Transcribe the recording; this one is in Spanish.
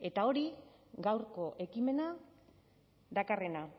eta hori gaurko ekimena dakarrena